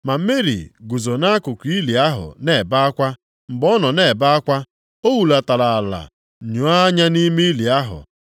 Ma Meri guzo nʼakụkụ ili ahụ na-ebe akwa. Mgbe ọ nọ na-ebe akwa, o hulatara ala nyoo anya nʼime ili ahụ